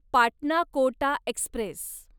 Patna Kota Express